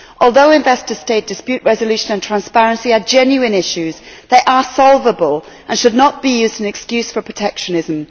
Although investor state dispute resolution and transparency are genuine issues, they are solvable and should not be used as an excuse for protectionism.